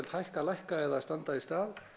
hækka lækka eða standa í stað